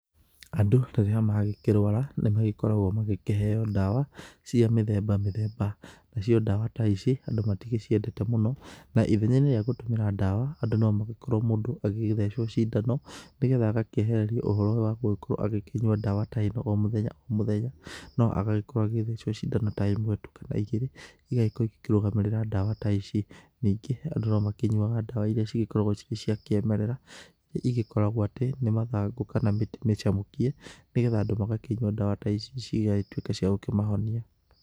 Andũ, narĩrĩa magĩkĩrũara, nĩmagĩkoragũo magĩkĩheo ndawa, cia mĩthemba mĩthemba. Nacio ndawa ta ici, andũ magĩticiendete mũno, na ithenyainĩ rĩa gũtũmĩra ndawa, nomagĩkorũo mũndũ agĩgĩthecio cindano, nĩgetha agakĩehererio ũhoro ũyũ wa gũkorũo agĩkĩnyua ndawa ta ĩno omũthenya omũthenya, no agagĩkorũo agĩthecũo cindano ta ĩmwe tu kana igĩrĩ, igagĩkorũo ikĩrũgamĩrĩra ndawa ta ici, ningĩ, andũ nĩmakĩnyuaga ndawa iria cigĩkoragũo cirĩ cia kĩmerera, iria igĩkoragũo atĩ, nĩmathangũ, kana mĩtĩ mĩcamũkie, nĩgetha andũ magakĩnyua ndawa ta ici cigagĩtuĩka cia gũkĩmahonia.